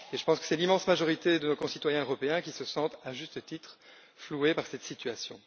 Je pense que c'est l'immense majorité de nos concitoyens européens qui se sentent, à juste titre, floués par cette situation.